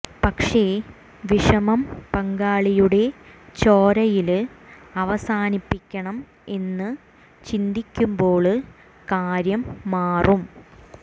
പക്ഷേ വിഷമം പങ്കാളിയുടെ ചോരയില് അവസാനിപ്പിക്കണം എന്ന് ചിന്തിക്കുമ്പോള് കാര്യം മാറും